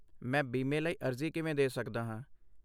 ਮੈਂ ਬੀਮੇ ਲਈ ਅਰਜ਼ੀ ਕਿਵੇਂ ਦੇ ਸਕਦਾ ਹਾਂ?